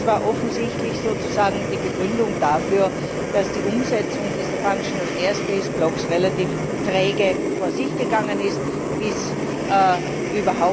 Das war offensichtlich die Begründung dafür, dass die Umsetzung dieser relativ träge vor sich gegangen ist bzw.